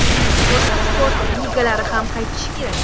Boshqa sport ligalari ham qaytishi kerak.